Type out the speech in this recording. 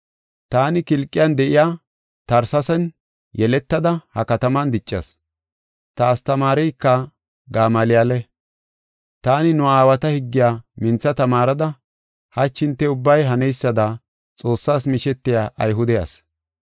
“Taani Kilqiyan de7iya Tersesee yeletada ha kataman diccas. Ta astamaareyka Gamaaliyale; taani nu aawata higgiya mintha tamaarida, hachi hinte ubbay haneysada Xoossas mishetiya Ayhude asi.